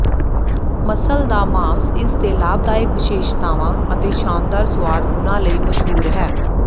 muscle ਦਾ ਮਾਸ ਇਸਦੇ ਲਾਭਦਾਇਕ ਵਿਸ਼ੇਸ਼ਤਾਵਾਂ ਅਤੇ ਸ਼ਾਨਦਾਰ ਸੁਆਦ ਗੁਣਾਂ ਲਈ ਮਸ਼ਹੂਰ ਹੈ